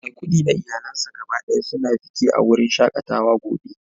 Maikudi da iyalansa gaba daya suna fiki a wurin shakatawa gobe